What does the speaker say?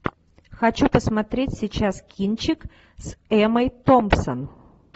хочу посмотреть сейчас кинчик с эммой томпсон